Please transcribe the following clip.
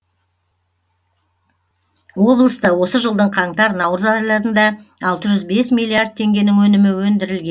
облыста осы жылдың қаңтар наурыз айларында алты жүз бес миллиард теңгенің өнімі өндірілген